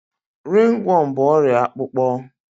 Ringworm bụ ọrịa akpụkpọ